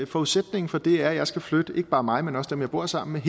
forudsætningen for det er at jeg skal flytte ikke bare mig men også dem jeg bor sammen med